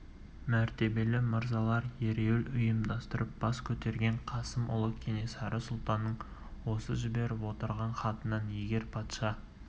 мәртебелі мырзалар ереуіл ұйымдастырып бас көтерген қасым ұлы кенесары сұлтанның осы жіберіп отырған хатынан егер патша